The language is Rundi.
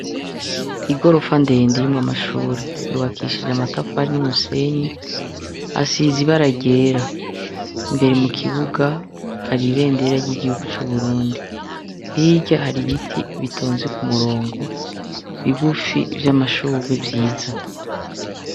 Igorofa ndende irimwo amashuri yubakishije amatafari n'umusenyi asize ibara ryera imbere mu kibuga hari ibendera ry'igihugu c'uburundi, hirya hari ibiti bitonze ku murongo bigufi vy'amashugwe vyiza.